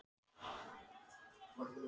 Hann sneri hesti sínum frá húskarlinum.